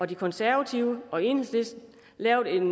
de konservative og enhedslisten lavet et